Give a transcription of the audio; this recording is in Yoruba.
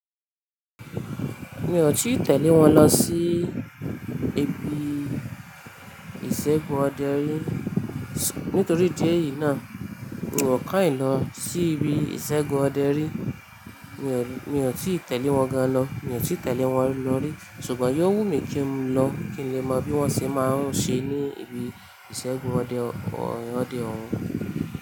Mi ò tíì tẹ̀lé wọn lọ sí ibi ìṣẹ́gun ọdẹ rí, nítorí idí ẹ̀ yìí náà, ròó ká ì lọ sí ibi ìṣẹ́gun ọdẹ rí. Mi ò tíì tẹ̀lé wọn ga lọ, mi ò tíì tẹ̀lé wọn lọ rí, ṣùgbọ́n yóò wù mí kí n lọ, kí n lè mọ bí wọ́n ṣe máa ń ṣe ní ibi ìṣẹ́gun ọdẹ òun.